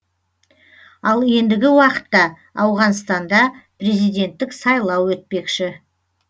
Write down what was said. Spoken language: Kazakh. ал ендігі уақытта ауғанстанда президенттік сайлау өтпекші